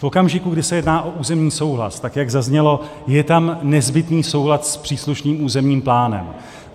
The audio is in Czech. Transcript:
V okamžiku, kdy se jedná o územní souhlas, tak jak zaznělo, je tam nezbytný soulad s příslušným územním plánem.